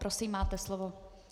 Prosím, máte slovo.